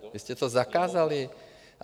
Vy jste to zakázali.